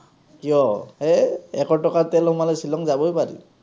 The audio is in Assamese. কিয়? হেই, এশ টকা তেল সোমালে শ্বিলং যাবই পাৰিম।